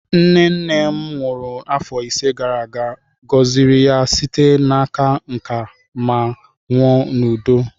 Nne nne m nwụrụ afọ ise gara aga, gọziri ya site n'aka nká ma nwụọ n'udo.